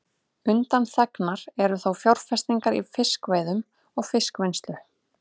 Undanþegnar eru þó fjárfestingar í fiskveiðum og fiskvinnslu.